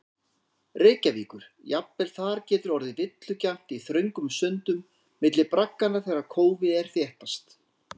Reykjavíkur, jafnvel þar getur orðið villugjarnt í þröngum sundum milli bragganna þegar kófið er þéttast.